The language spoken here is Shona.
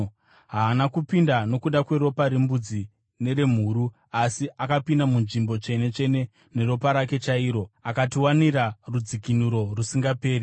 Haana kupinda nokuda kweropa rembudzi neremhuru; asi akapinda muNzvimbo Tsvene-tsvene neropa rake chairo akatiwanira rudzikinuro rusingaperi.